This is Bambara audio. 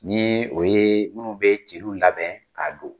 Ni o ye minnu bɛ jeliw labɛn k'a don.